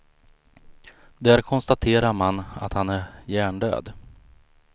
Där konstaterar man att han är hjärndöd.